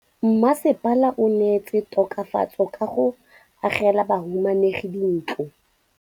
Mmasepala o neetse tokafatsô ka go agela bahumanegi dintlo.